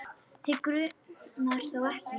Þig grunar þó ekki?.